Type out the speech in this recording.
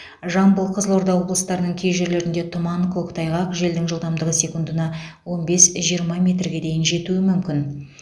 жамбыл қызылорда облыстарының кей жерлерінде тұман көктайғақ желдің жылдамдығы секундына он бес жиырма метрге дейін жетуі мүмкін